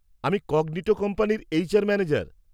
-আমি কগনিটো কোম্পানির HR manager.